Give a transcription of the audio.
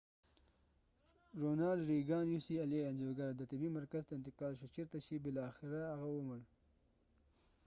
انځورګر د ronal reagan ucla طبې مرکز ته انتقال شو چیرته چې بالاخره هغه ومړ